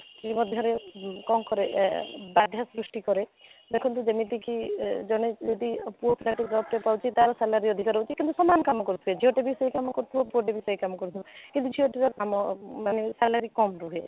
ମଧ୍ୟରେ କ'ଣ କରି ଏ ବାଧ୍ୟ ସୃଷ୍ଟି କରେ କରେ ଦେଖନ୍ତୁ ଯେମିତିକି ଏ ଜଣେ ଯଦି ପୁଅ ତା satisfy ର job ପାଉଛି ତା'ର salary ଅଧିକ ରହୁଛି କିନ୍ତୁ ସମାନ କାମ କରୁଥିବେ ଝିଅ ଟା ବି ସେଇ କାମ କରୁଥିବ ପୁଅ ଟା ବି ସେଇ କାମ କରୁଥିବ କିନ୍ତୁ ଝିଅ ଟିକେ କାମ ମାନେ salary କାମ ରୁହେ